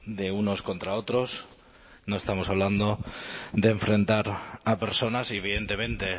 de unos contra otros no estamos hablando de enfrentar a personas y evidentemente